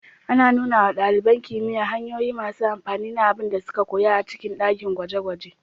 Ana nuna wa ɗaliban kimiyya hanyoyi masu amfani na abin da suka koya a cikin dakin gwaje-gwaje.